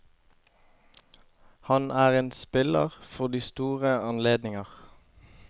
Han er en spiller for de store anledninger.